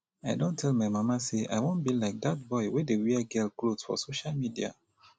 i don tell my mama say i wan be like dat boy wey dey wear girl cloth for social media